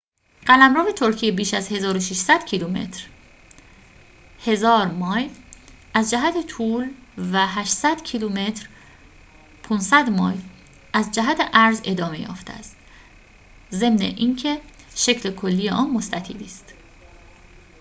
قلمرو ترکیه بیش از 1,600 کیلومتر 1,000 مایل از جهت طول و 800 کیلومتر 500 مایل از جهت عرض ادامه یافته است، ضمن اینکه شکل کلی آن مستطیلی است